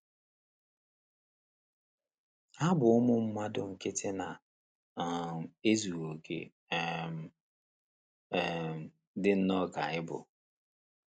Ha bụ ụmụ mmadụ nkịtị na - um ezughị okè um, um dị nnọọ ka anyị bụ.